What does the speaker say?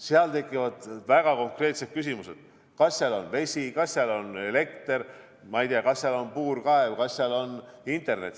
Seal tekivad väga konkreetsed küsimused: kas seal on vesi, kas seal on elekter, kas seal on puurkaev, kas seal on internet.